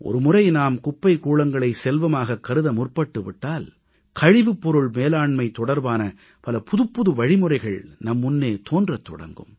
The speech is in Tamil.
ஒருமுறை நாம் குப்பைக் கூளங்களை செல்வமாகக் கருத முற்பட்டு விட்டால் கழிவுப்பொருள் மேலாண்மை தொடர்பான பல புதுப்புது வழிமுறைகள் நம் முன்னே தோன்றத் தொடங்கும்